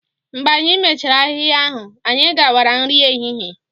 Mgbe anyị mechara ahịhịa ahụ, anyị gawara nri ehihie